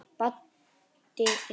Baddi líka.